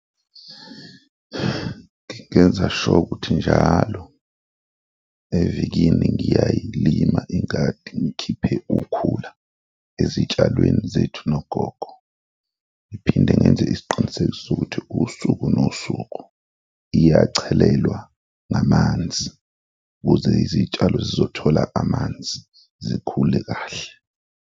Ngingenza sure ukuthi njalo evikini ngingayiyilima ingadi, ngikhiphe ukhula ezitshalweni zethu nogogo ngiphinde ngenze isiqiniseko sokuthi usuku nosuku iyachelelwa ngamanzi ukuze izitshalo zizothola amanzi zikhule kahle.